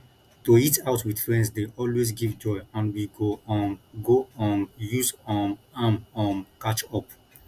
to eat out with friends dey always give joy and we go um go um use um am um catch up